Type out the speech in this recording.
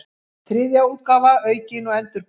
Þriðja útgáfa aukin og endurbætt.